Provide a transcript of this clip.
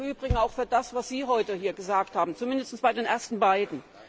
Und es gilt im Übrigen auch für das, was Sie heute hier gesagt haben, zumindest bei den ersten beiden.